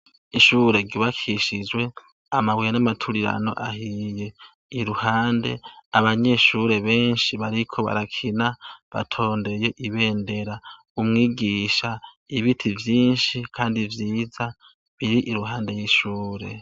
Ishure gibakishijwe amabuye n'amaturirano ahiye iruhande abanyishure benshi bariko barakina batondeye ibendera umwigisha ibiti vyinshi, kandi vyiza biri iruhande y'ishure.